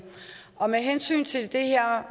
og med hensyn til det her